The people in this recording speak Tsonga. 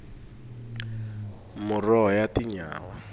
muroho ya tinyawa